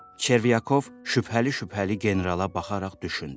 Çervyakov şübhəli-şübhəli generala baxaraq düşündü.